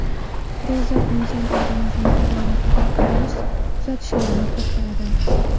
Ro‘za inson organizmi faoliyatiga o‘z tuzatishlarini kiritadi.